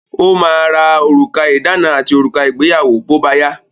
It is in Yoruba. Ó ma ra òrùka ìdána àti òrùka ìgbéyàwó bóbáyá.